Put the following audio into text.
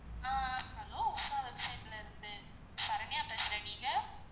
ஆஹ் hello website ல இருந்து சரண்யா பேசுறன், நீங்க?